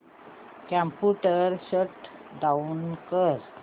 computer shut down कर